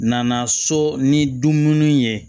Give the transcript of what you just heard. Nana so ni dumuni ye